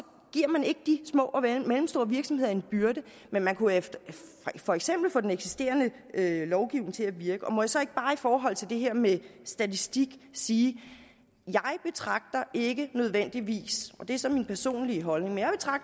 giver man ikke de små og mellemstore virksomheder en byrde men man kunne for eksempel få den eksisterende lovgivning til at virke må jeg så ikke bare i forhold til det her med statistik sige jeg betragter ikke nødvendigvis og det er så min personlige holdning